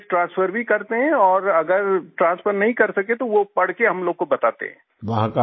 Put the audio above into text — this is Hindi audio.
डॉक्यूमेंट ट्रांसफर भी करते हैं और अगर ट्रांसफर नहीं कर सके तो वो पढ़ के हम लोगों को बताते हैं